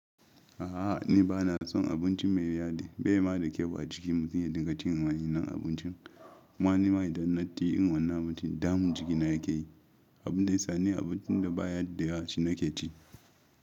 A'a ni ba na son abinci mai yadi, bai yi ma da kyau a jiki mutum ya dinga cin wani nau'in abincin. kuMa ni mai dannatti in wannan abincin damun jikina ya ka yi, abin da ya sa ni abincin da ba ya hadda shi na ke ci.